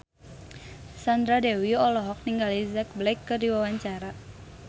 Sandra Dewi olohok ningali Jack Black keur diwawancara